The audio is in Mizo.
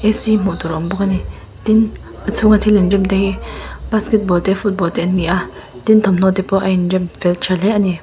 hmuh tur a awm bawk ani tin a chhung a thil in rem te hi basketball te football te ani a tin thawmhnaw te pawh a in rem fel tha hle ani.